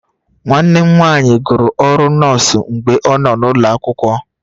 Nwanne m nwanyị gụrụ ọrụ nọọsụ mgbe ọ nọ n'ụlọ akwụkwọ